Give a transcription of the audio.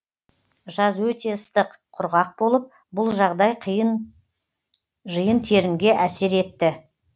жаз өте ыстық құрғақ болып бұл жағдай жиын терінге әсер етті